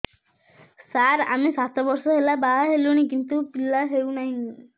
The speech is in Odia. ସାର ଆମେ ସାତ ବର୍ଷ ହେଲା ବାହା ହେଲୁଣି କିନ୍ତୁ ପିଲା ହେଉନାହିଁ